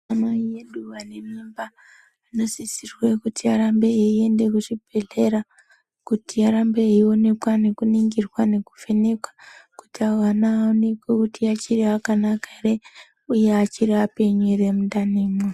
Anamai edu ane mimba anosise kuti arambe achiende kuzvibhedhlera kuti aramba eionekwa, nekuningirwa, nekuvhenekwa kuti ana aonekwe kuti vachiri vakanaka here uye vachiri vapenyu here mundani imwo.